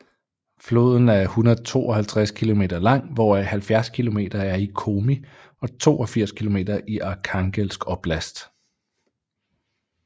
Floden er 152 kilometer lang hvoraf 70 kilometer er i Komi og 82 kilometer i Arkhangelsk oblast